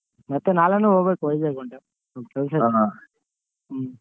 ಮತ್ತೆ ನಾಳೇನು ಹೋಗ್ಬೇಕು ವೈಝಗ್ one time ಕೆಲಸ ಹ್ಮ್.